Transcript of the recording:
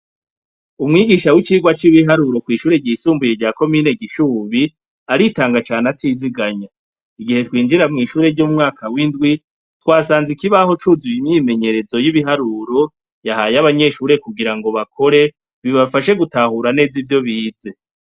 Umwigisha w'icirwa c'ibiharu kw'ishuri ryisumbuye rya komine gishubi ,aritanga cane atiziganya. Igihe twinjira mw'ishuri ry'umwaka w'indwi ,twasanze ikibaho c'uzuye imyimenyerezo y'ibiharuro ,yahaye abanyeshure kugira bakore, bibafashe gutahura neza ivyo bize.